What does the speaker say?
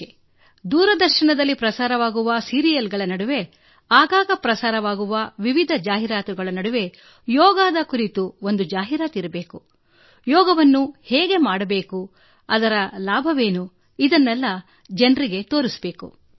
ಇದಕ್ಕಾಗಿ ದೂರದರ್ಶನದಲ್ಲಿ ಬರುವ ಜಾಹೀರಾತುಗಳಲ್ಲಿ ಯಾವುದಾದರೂ ಒಂದು ಜಾಹೀರಾತು ಯೋಗ ಮಾಡುವುದು ಹೇಗೆ ಅದರ ಉಪಯೋಗವೇನು ಎಂಬುದಾಗಿರಲಿ ಎಂದು ನಾನುಅಪೇಕ್ಷಿಸುವೆ